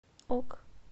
ок